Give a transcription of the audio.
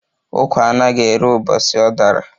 Ukwa anaghi érè ubosi ọ dara